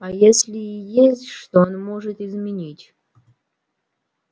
а если и есть что он может изменить